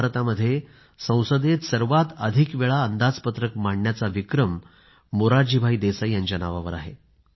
स्वतंत्र भारतामध्ये संसदेमध्ये सर्वात अधिकवेळा अर्थसंकल्प सादर करण्याचा विक्रमही मोरारजीभाई देसाई यांच्या नावावर आहे